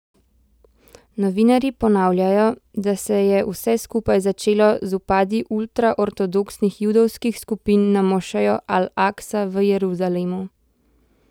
Novinarji ponavljajo, da se je vse skupaj začelo z vpadi ultraortodoksnih judovskih skupin na mošejo Al Aksa v Jeruzalemu.